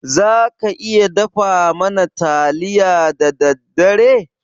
Za ka iya dafa mana taliya da daddare?